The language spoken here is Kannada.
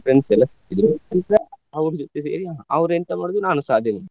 friends ಎಲ್ಲ ಸಿಕ್ಕಿದ್ರು ಎಲ್ಲಾ ಅವ್ರ ಜೊತೆ ಸೇರಿ ಅವ್ರು ಎಂತ ಮಾಡಿದ್ರು ನಾನುಸಾ ಅದೇ ಮಾಡುದು.